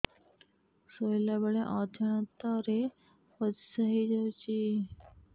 ଶୋଇଲା ବେଳେ ଅଜାଣତ ରେ ପରିସ୍ରା ହେଇଯାଉଛି